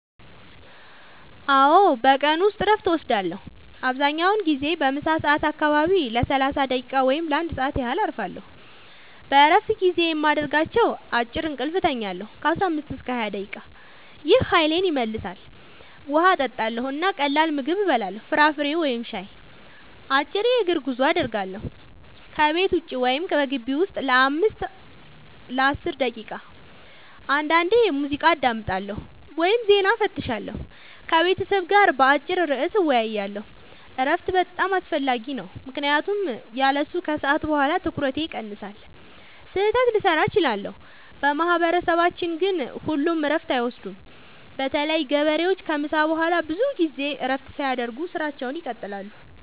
አዎ፣ በቀን ውስጥ እረፍት እወስዳለሁ። አብዛኛውን ጊዜ በምሳ ሰዓት አካባቢ ለ30 ደቂቃ ወይም ለ1 ሰዓት ያህል እረፋለሁ። በእረፍት ጊዜዬ የማደርጋቸው፦ · አጭር እንቅልፍ እተኛለሁ (15-20 ደቂቃ) – ይህ ኃይሌን ይመልሳል። · ውሃ እጠጣለሁ እና ቀላል ምግብ እበላለሁ (ፍራፍሬ ወይም ሻይ)። · አጭር የእግር ጉዞ አደርጋለሁ – ከቤት ውጭ ወይም በግቢው ውስጥ ለ5-10 ደቂቃ። · አንዳንዴ ሙዚቃ አዳምጣለሁ ወይም ዜና እፈትሻለሁ። · ከቤተሰብ ጋር በአጭር ርዕስ እወያያለሁ። እረፍት በጣም አስፈላጊ ነው ምክንያቱም ያለሱ ከሰዓት በኋላ ትኩረቴ ይቀንሳል፣ ስህተት ልሠራ እችላለሁ። በማህበረሰባችን ግን ሁሉም እረፍት አይወስዱም – በተለይ ገበሬዎች ከምሳ በኋላ ብዙ ጊዜ እረፍት ሳያደርጉ ሥራቸውን ይቀጥላሉ።